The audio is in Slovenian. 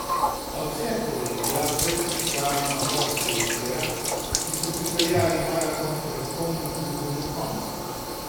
A vse to je bila predpriprava na goste večera, ki so pripeljali maraton pred polnim klubom do konca.